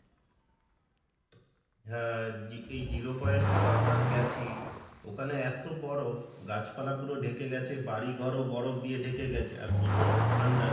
হ্যাঁ জি~ এই zero point এও আমরা গেছি, ওখানে এতো বরফ গাছ পালা পুরো ডেকে গেছে বাড়ি ঘরও বরফ দিয়ে ডেকে গেছে আর প্রচন্ড ঠান্ডা,